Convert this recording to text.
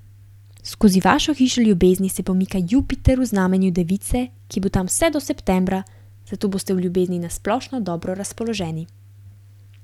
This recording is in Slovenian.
Skozi vašo hišo ljubezni se pomika Jupiter v znamenju device, ki bo tam vse do septembra, zato boste v ljubezni na splošno dobro razpoloženi.